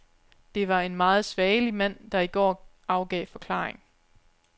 Det var en meget svagelig mand, der i går afgav forklaring.